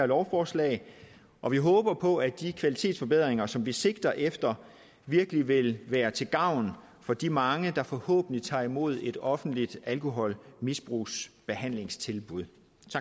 lovforslaget og vi håber på at de kvalitetsforbedringer som vi sigter efter virkelig vil være til gavn for de mange der forhåbentlig tager imod et offentligt alkoholmisbrugsbehandlingstilbud